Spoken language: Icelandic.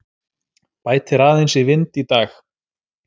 Bætir aðeins í vind í dag